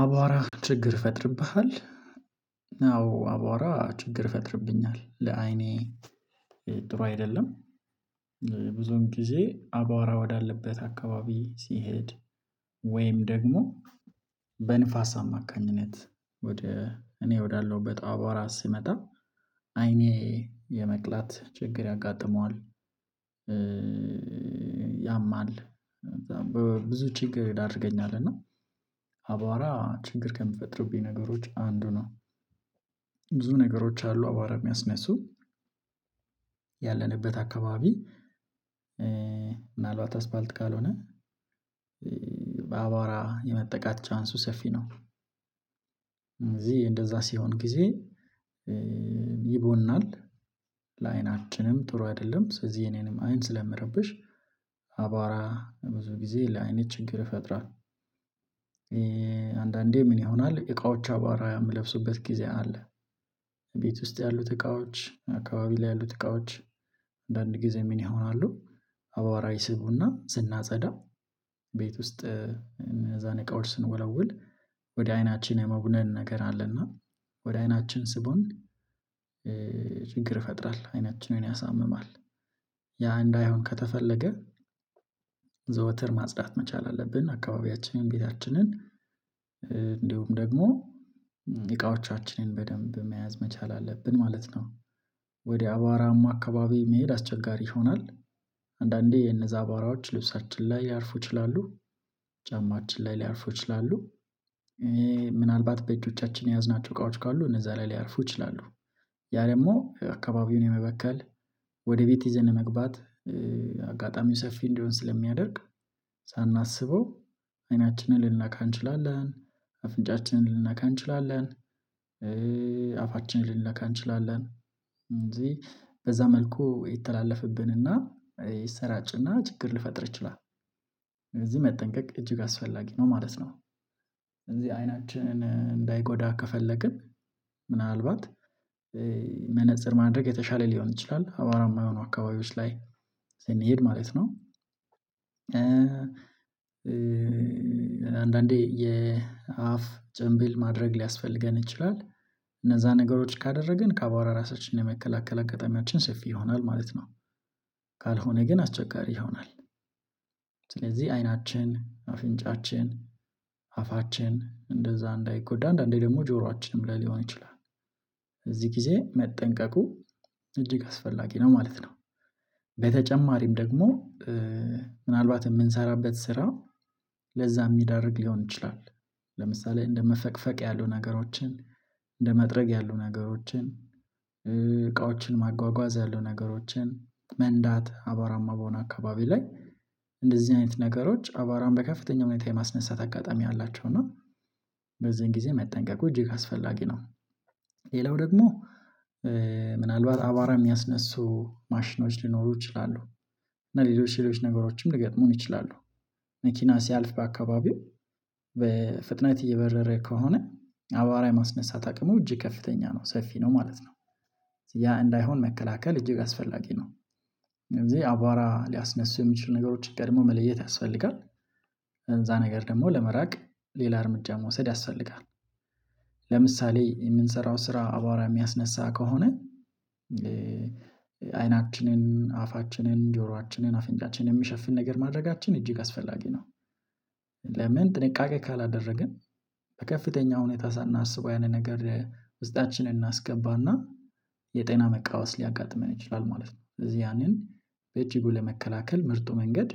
አቧራ ችግር ይፈጥርብሃል? አዎ አቧራ ችግር ይፈጥርብኛል ለአይኔ ጥሩ አይደለም። ብዙም ጊዜ አባራ ወዳለበት አካባቢ ሲሄድ ወይም ደግሞ በንፋስ አማካኝነት ወደ እኔ ወዳለሁበት አባሯ ሲመጣ አይኔ የመቅላት ችግር ያጋጥመዋል። ያማል። ብዙ ችግር ይዳርገኛል እና ችግር ከሚፈጥሩብኝ ነገሮች አንዱ ነው። ብዙ ነገሮች አሉ አባሯ የሚያስነሱ ያለንበት አካባቢ ምናልባት አስፋልት ካልሆነ በአቧራ የመጠቃት ቻንሱ ሰፊ ነው። እዚህ እንደዛ ሲሆን ጊዜ ይቦናል ለአይናችንም ጥሩ አይደለም። ስለዚህ የኔንም አይን ስለምረብሽ አባሯ ብዙ ጊዜ ለአይኔ ችግር ይፈጥራል። ምን ይሆናል እቃዎች አባራ የምለብሱበት ጊዜ አለ ቤት ውስጥ ያሉት እቃዎች አካባቢ ላይ ያሉት እቃዎች አንዳንድ ጊዜ ምን ይሆናሉ? አባሯ ይስቡና ስና ጸዳ ቤት ውስጥ እነዛን እቃዎች ስንወለውል ወደ አይናችን የመቡነን ነገር አለና ወደ አይናችን ስቦን ችግር ይፈጥራል አይናችንን ያሳምማል። ያ እንዳይሆን ከተፈለገ ዘወትር ማጽዳት መቻል አለብን አካባቢያችንን ቤታችንን እንዲሁም ደግሞ እቃዎቻችንን በደንብ መያዝ መቻል አለብን ማለት ነው። አባሯማ አካባቢ መሄድ አስቸጋሪ ይሆናል። አንዳንዴ እነዛ አባሯዎች ልብሳችን ላይ ሊያርፉ ይችላሉ ጫማችን ላይ ሊያርፉ ይችላሉ። ምናልባት በእጆቻችን የያዝናቸው እቃዎች ካሉ እነዛ ላይ ሊያርፉ ይችላሉ። ያ ደግሞ አካባቢውን የመበከል ወደ ቤት ይዘን መግባት አጋጣሚው ሰፊ እንዲሆን ስለሚያደርግ ሳናስበው አይናችንን ልንነካ እንችላለን አፍንጫችንን ልንነካ እንችላለን አፋችንን ልንነካ እንችላለን በዛ መልኩ ይተላለፍብንና ይሰራጭና ችግር ልፈጥር ይችላል። መጠንቀቅ እጅግ አስፈላጊ ነው ማለት ነው። የአይናችንን እንዳይጎዳ ከፈለግን ምናልባት መነፀር ማድረግ የተሻለ ሊሆን ይችላል አባሯማ የሆኑ አካባቢዎች ላይ ስንሄድ ማለት ነው። አንዳንዴ የአፍ ጭንብል ማድረግ ሊያስፈልገን ይችላል። እነዛ ነገሮች ካደረግን ከአባውሯ ራሳችን የመከላከል አጋጣሚያችን ሰፊ ይሆናል ማለት ነው። ካልሆነ ግን አስቸጋሪ ይሆናል። ስለዚህ አይናችን አፍንጫችን አፋችን እንደዛ እንዳይጎዳ አንዳንዴ ደግሞ ጆሯችንም ላይ ሊሆን ይችላል በዚህ ጊዜ መጠንቀቁ እጅግ አስፈላጊ ነው ማለት ነው። በተጨማሪም ደግሞ ምናልባት ምንሰራበት ስራ ለዛ ሚዳርግ ሊሆን ይችላል። ለምሳሌ እንደ መፈቅፈቅ ያሉ ነገሮችን እንደ መጥረግ ያሉ ነገሮችን እቃዎችን ማጓጓዝ ያለው ነገሮችን መንዳት አባሯማ በሆነ አካባቢ ላይ እንደዚህ አይነት ነገሮች አባሯን በከፍተኛ ሁኔታ የማስነሳት አጋጣሚ አላቸው እና በዚህን ጊዜ መጠንቀቁ እጅግ አስፈላጊ ነው። ሌላው ደግሞ ምናልባት አባሯ የሚያስነሱ ማሽኖች ሊኖሩ ይችላሉ። እና ሌሎች ሌሎች ነገሮችም ሊገጥሙን ይችላሉ። መኪና ሲያልፍ በአካባቢው በፍጥነት እየበረረ ከሆነ አባሯ የማስነሳት አቅሙ እጅ ከፍተኛ ነው ሰፊ ነው ማለት ነው። ያ እንዳይሆን መከላከል እጅግ አስፈላጊ ነው። እንደዚህ አቧራ ሊያስነሱ የሚችሉ ነገሮች ቀድሞ መለየት ያስፈልጋል። ከዛ ነገር ደግሞ ለመራቅ ሌላ እርምጃ መውሰድ ያስፈልጋል። ለምሳሌ የምንሰራው ስራ አባዋሯ የሚያስነሳ ከሆነ አይናችንን አፋችንን ጆሮአችንን አፍንጫችንን የሚሸፍን ነገር ማድረጋችን እጅግ አስፈላጊ ነው። ለምን ጥንቃቄ ካላደረግን በከፍተኛ ሁኔታ ሳናስበው ያንን ነገር ውስጣችንን እናስገባና የጤና መቃወስ ሊያጋጥመን ይችላል ማለት ነው። እዚህ ያንን በእጅጉ ለመከላከል ምርጡ መንገድ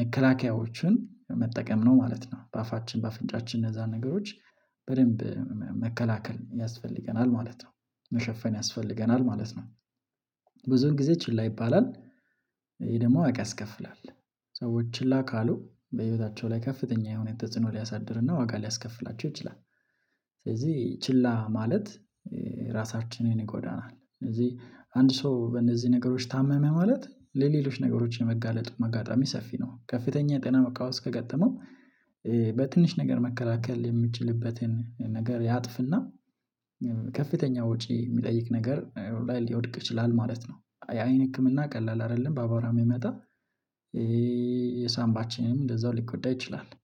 መከላከያዎችን መጠቀም ነው። ማለት ነው በአፋችን በአፍንጫችን እነዛን ነገሮች በደንብ መከላከል ያስፈልገናል ማለት ነው። መሸፈን ያስፈልገናል ማለት ነው። ብዙን ጊዜ ቺላ ይባላል ይሄ ደግሞ ዋጋ ያስከፍላል። ሰዎች ችላ ካሉ በህይወታቸው ላይ ከፍተኛ የሆነ ተጽዕኖ ሊያሳድርና ዋጋ ሊያስከፍላቸው ይችላል። ስለዚህ ችላ ማለት ራሳችንን ይጎዳናል። ስለዚህ አንድ ሰው በእነዚህ ነገሮች ታመመ ማለት ለሌሎች ነገሮች የመጋለጡ ኣጋጣሚ ሰፊ ነው። ከፍተኛ ጤና መቃወስ ከገጠመው በትንሽ ነገር መከላከል የምችልበትን ነገር ያጥፍና ከፍተኛ ወጪ የሚጠይቅ ነገር ላይ ሊወድቅ ይችላል ማለት ነው። የአይን ህክምና ቀላል አይደለም። በአባሯ ሚመጣ የሳንባችንም እንደዛው ሊጎዳ ይችላል